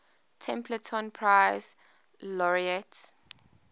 templeton prize laureates